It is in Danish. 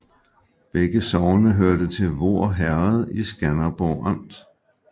Begge sogne hørte til Voer Herred i Skanderborg Amt